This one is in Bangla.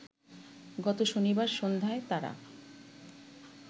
গত শনিবার সন্ধ্যায় তারা